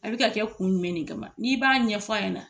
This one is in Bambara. A be ka kɛ kun jumɛn ne kama n'i b'a ɲɛfɔ ɲɛna